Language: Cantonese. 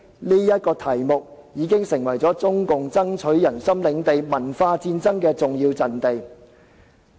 這個題目已經成為中共爭取人心領地文化戰爭的重要陣地。